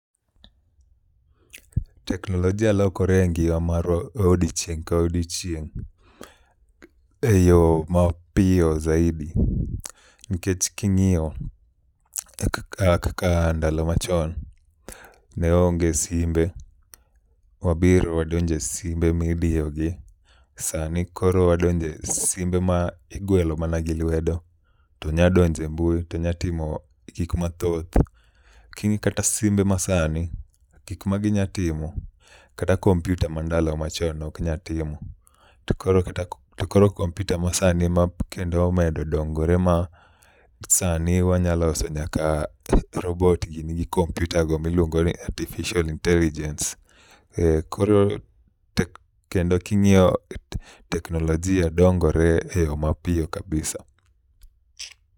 Teknolojia lokore e ngima marwa odiochieng' ka odiochieng' e yo mapiyo zaidi, nikech king'iyo kaka ndalo machon, ne onge simbe wabiro wadonjo e simbe midiyogi sani koro wadonjo e simbe ma igwelo mana gi lwedo to nyadonjo e mbui to nyatimo gik mathoth. King'i kata simbe masani gikma ginyatimo, kata kompiuta mandalo machon noknya timo. To koro kompiuta masani makendo omedo dongore ma sani wanyaloso nyaka robot gini gi kompiuta go miluongo ni artificial intelligence koro kendo king'iyo teknolojia dongore e yo mapiyo kabisa.